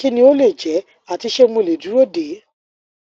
kí ni ó lè jẹ ati ṣé mo le duro de